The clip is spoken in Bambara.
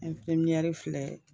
filɛ